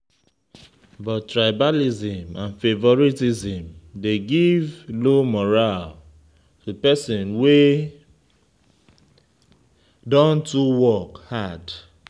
But tribalism and favouritism de give low morale to pesin wey don too work hard.